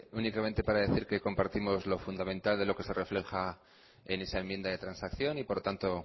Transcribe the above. únicamente para decir que compartimos lo fundamental de lo que se refleja en esa enmienda de transacción y por lo tanto